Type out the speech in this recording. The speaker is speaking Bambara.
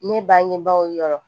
Ne bangebaaw yɔrɔ